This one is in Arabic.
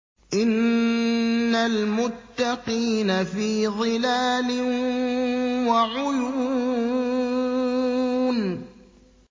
إِنَّ الْمُتَّقِينَ فِي ظِلَالٍ وَعُيُونٍ